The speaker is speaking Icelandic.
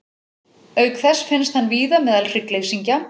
Auk þess finnst hann víða meðal hryggleysingja.